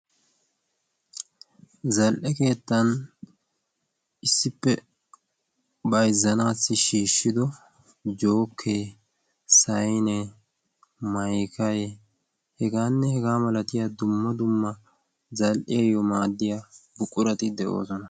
zal''e keettan issippe bayzzanaassi shiishshido jookee sayne maykae hegaanne hegaa malatiya dumma dumma zal''iyaayyo maaddiya buqqurati de'oosona